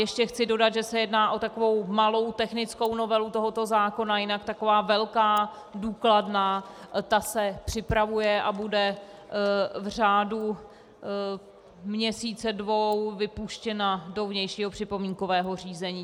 Ještě chci dodat, že se jedná o takovou malou technickou novelu tohoto zákona, jinak taková velká, důkladná, ta se připravuje a bude v řádu měsíce, dvou, vypuštěna do vnějšího připomínkového řízení.